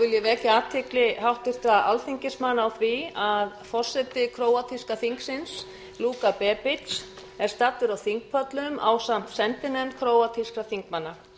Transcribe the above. ég vek athygli háttvirtra alþingismanna á því að forseti króatíska þingsins luka bebic er staddur á þingpöllum ásamt sendinefnd króatískra þingmanna